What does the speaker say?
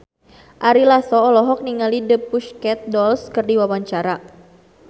Ari Lasso olohok ningali The Pussycat Dolls keur diwawancara